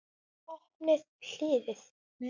Opnaðu hliðið.